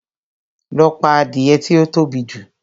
Lọ pa adìẹ tí ó tóbi jù!